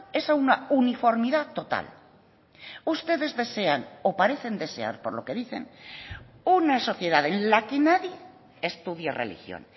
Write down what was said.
es a una uniformidad total ustedes desean o parecen desear por lo que dicen una sociedad en la que nadie estudie religión